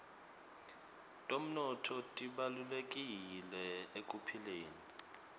temnotfo tibalulekile ekuphileni